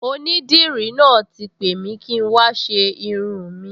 Onídìrí náà ti pè mi kí n wá ṣe irun-ùn mi